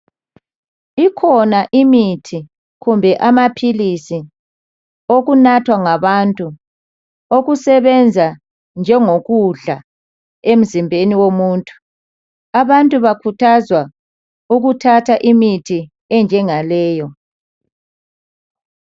Ikhona imithi kumbe amaphilisi okunathwa ngabantu okusebenza njengo kudla emzimbeni womuntu . Abantu bakhuthazwa ukuthatha imithi enjengaleyo.